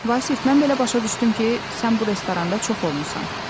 Vasif, mən belə başa düşdüm ki, sən bu restoranda çox olmusan?